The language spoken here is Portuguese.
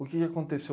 O que aconteceu?